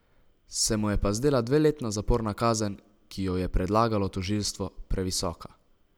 Se mu je pa zdela dveletna zaporna kazen, ki jo je predlagalo tožilstvo, previsoka.